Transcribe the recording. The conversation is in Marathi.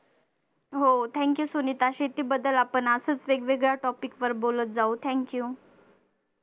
हो thank you सुनिता शेतीबद्दल आपण असच वेगवेगळ्या topic वर बोलत जाऊ thank you